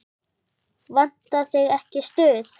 Vantar þig ekki stuð?